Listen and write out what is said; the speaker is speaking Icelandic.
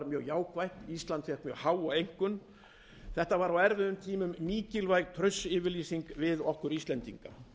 jákvætt ísland fékk mjög háa einkunn það var á erfiðum tímum mikilvæg traustsyfirlýsing við okkur íslendinga